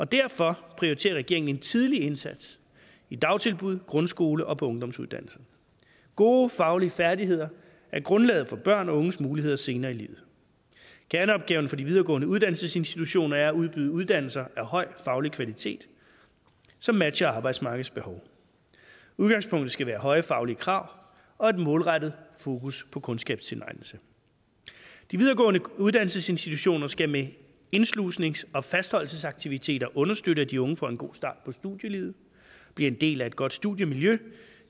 derfor prioriterer regeringen en tidlig indsats i dagtilbud grundskoler og på ungdomsuddannelserne gode faglige færdigheder er grundlaget for børns og unges muligheder senere i livet kerneopgaven for de videregående uddannelsesinstitutioner er at udbyde uddannelser af høj faglig kvalitet som matcher arbejdsmarkedets behov udgangspunktet skal være høje faglige krav og et målrettet fokus på kundskabstilegnelse de videregående uddannelsesinstitutioner skal med indslusnings og fastholdelsesaktiviteter understøtte at de unge får en god start på studielivet og bliver en del af et godt studiemiljø